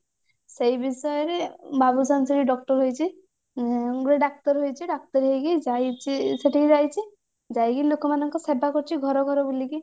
ସେଇ ବିଷୟରେ ବାବୁସାନ ସେଠି doctor ହେଇଛି ଉଁ ଗୋଟେ ଡାକ୍ତର ହେଇଛି ଡାକ୍ତର ହେଇକି ଯାଇଛି ସେଠିକି ଯାଇଛି ଯାଇକି ଲୋକମାନଙ୍କ ସେବାକରୁଛି ଘର ଘର ବୁଲିକି